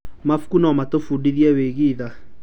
Mabuku no matũbundithie wĩgiĩ tha.